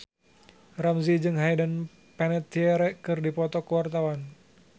Ramzy jeung Hayden Panettiere keur dipoto ku wartawan